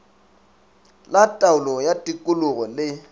la taolo ya tikologo le